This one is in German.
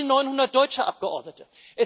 Es fehlen 900 deutsche Abgeordnete.